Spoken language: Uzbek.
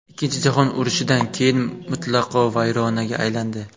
Ikkinchi jahon urushidan keyin mutlaqo vayronaga aylandi.